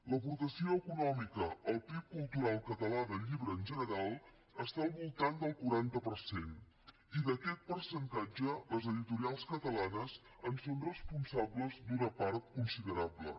l’aportació econòmica al pib cultural català del llibre en general està al voltant del quaranta per cent i d’aquest percentatge les editorials catalanes en són responsables d’una part considerable